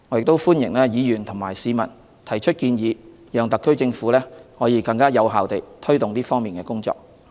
我歡迎議員和市民提出建議，讓特區政府可以更有效地推動這方面的工作。